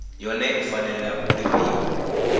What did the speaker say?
yone i fanela u lifhiwa